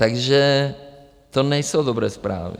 Takže to nejsou dobré zprávy.